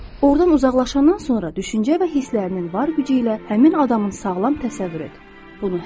Ordan uzaqlaşandan sonra düşüncə və hisslərinin var gücü ilə həmin adamın sağlam təsəvvür et.